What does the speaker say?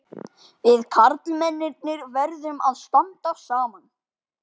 Við karlmennirnir verðum að standa saman.